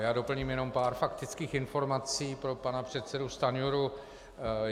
Já doplním jenom pár faktických informací pro pana předsedu Stanjuru.